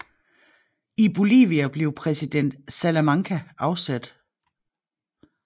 I Bolivia blev præsident Salamanca afsat